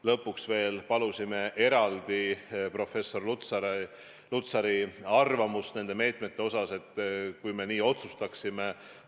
Lõpuks palusime veel eraldi professor Lutsari arvamust meetmete kohta, mis me otsustasime rakendada.